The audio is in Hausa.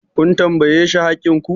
kun tambaye shi haƙƙin ku!